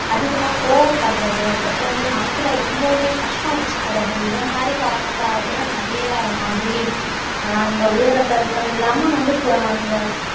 அதிகமா கோபப்படுறது அதுக்கப்புறம் வந்து மனசுல ரொம்பவுமே கஷ்டம் வச்சிக்கிறது இதை மாதிரி காரணத்தால கூட நிறைய மாதிரி அஹ் இந்த உயர் ரத்த அழுத்தம் இல்லாம வந்து கு அந்த